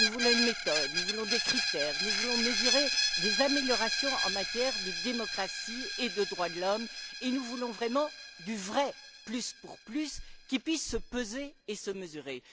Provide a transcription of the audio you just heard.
Nous voulons une méthode, nous voulons des critères, nous voulons mesurer des améliorations en matière de démocratie et de droits de l'homme et nous voulons vraiment du vrai plus pour plus, qui puisse se peser et se mesurer.